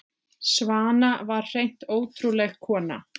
Svana var hreint ótrúleg kona.